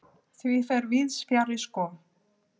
Því fer víðs fjarri sko.